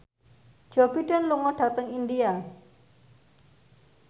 Joe Biden lunga dhateng India